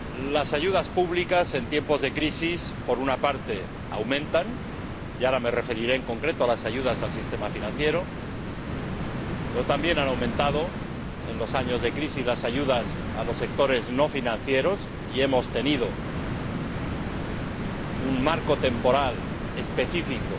Las ayudas públicas, en tiempos de crisis, por una parte aumentan —y ahora me referiré, en concreto, a las ayudas al sistema financiero—, pero también han aumentado en los años de crisis las ayudas a los sectores no financieros, y hemos tenido un marco temporal específico